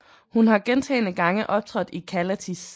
Hun har gentagne gange optrådt i Callatis